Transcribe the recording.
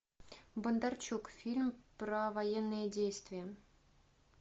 бондарчук фильм про военные действия